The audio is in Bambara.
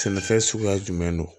Sɛnɛfɛn suguya jumɛn don